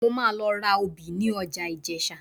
Mo máa lọ ra obì ní ọjà Ìjẹ̀sà